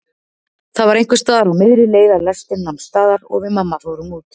Það var einhversstaðar á miðri leið að lestin nam staðar og við mamma fórum út.